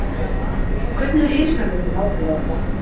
Hvernig er heilsan hjá þér nákvæmlega í dag?